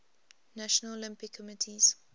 national olympic committees